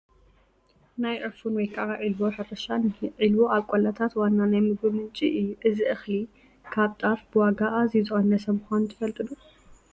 ናይ ዑፉን ወይ ከዓ ዒልቦ ሕርሻ እኒሀ፡፡ ዒልቦ ኣብ ቆላታት ዋና ናይ ምግቢ ምንጪ እዩ፡፡ እዚ እኽሊ ካብ ጣፍ ብዋጋ ኣዝዩ ዝቐነሰ ምዃኑ ትፈልጡ ዶ?